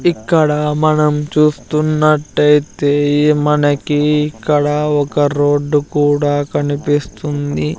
ఇక్కడ మనం చూస్తున్నట్టయితే మనకి ఇక్కడ ఒక రోడ్డు కూడా కనిపిస్తుంది.